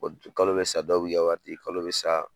Kalo bɛ sa dɔw b'i ka wari di kalo bɛ sa